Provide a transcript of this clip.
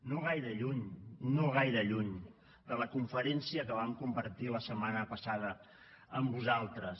no gaire lluny no gaire lluny de la conferència que vam compartir la setmana passada amb vosaltres